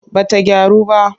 Ba ta gyaru ba.